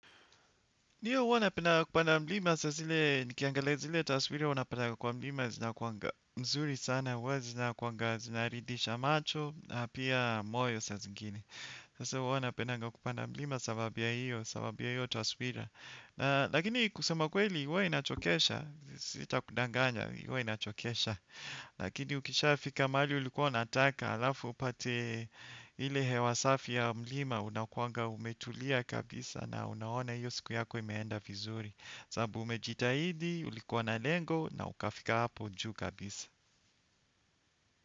Ndiyo huwa napendanga kupanda mlima saa zile, nikiangalia zile taswira unapatanga kwa mlima zinakuanga mzuri sana, huwa zinakuanga zinaridisha macho, na pia moyo saa zingine. Sasa huwa napendanga kupanda mlima sababu hiyo, sababu hiyo taswira. Na lakini kusema kweli, uwe inachokesha, sitakudanganya, huwa inachokesha, lakini ukishafika mali ulikuwa unataka alafu upate ile hewa safi ya mlima unakuanga umetulia kabisa na unaona hiyo siku yako imeenda vizuri. Sababu umejitahidi, ulikuwa na lengo na ukafika hapo juu kabisa.